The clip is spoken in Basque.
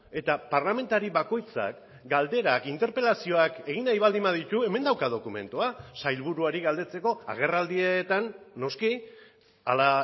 eta parlamentari bakoitzak galderak interpelazioak egin nahi baldin baditu hemen dauka dokumentua sailburuari galdetzeko agerraldietan noski hala